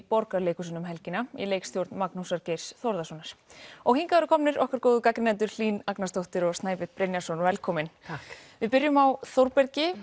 Borgarleikhúsinu um helgina í leikstjórn Magnúsar Geirs Þórðarsonar og hingað eru komnir okkar góðu gagnrýnendur Hlín Agnarsdóttir og Snæbjörn Brynjarsson velkomin takk byrjum á Þórbergi